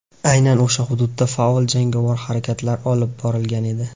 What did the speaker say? Aynan o‘sha hududda faol jangovar harakatlar olib borilgan edi.